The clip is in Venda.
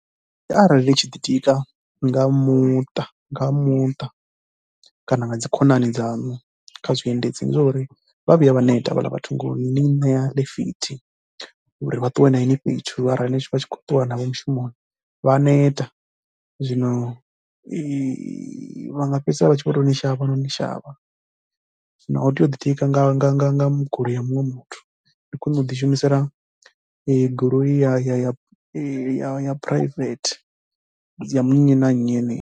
Arali ndi tshi ḓitika nga muṱa nga muṱa kana nga dzi khonani dzaṋu kha zwiendedzi, ndi zwa uri vha vhuya vha neta vhaḽa vhathu ngo ni ṋea ḽitithi uri vha ṱuwe na ini fhethu arali vha tshi khou ṱuwa navho mushumoni vha ya neta. Zwino vha nga fhedzisela vha tshi vho tou ni shavha noni shavha, zwino a u tei u ḓitika nga nga nga nga mu goloi ya muṅwe muthu ndi khwine u ḓishumisela goloi ya ya private ya nnyi na nnyi yeneyi.